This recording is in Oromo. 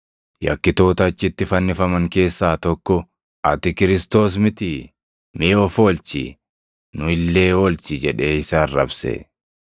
Yakkitoota achitti fannifaman keessaa tokko, “Ati Kiristoos mitii? Mee of oolchi; nu illee oolchi!” jedhee isa arrabse.